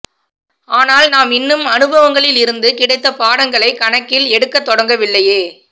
ஆனால் நாம் இன்னும் அனுபவங்களில் இருந்து கிடைத்த பாடங்களைக் கணக்கில் எடுக்கத் தொடங்கவில்லையே